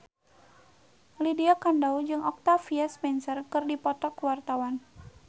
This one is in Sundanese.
Lydia Kandou jeung Octavia Spencer keur dipoto ku wartawan